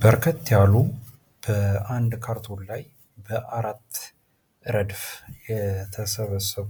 በርከት ያሉ በአንድ ካርቶን ላይ በአራት ረድፍ የተሰበሰቡ